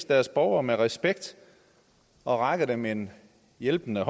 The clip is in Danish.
deres borgere med respekt og rækker dem en hjælpende